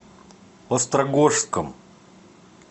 острогожском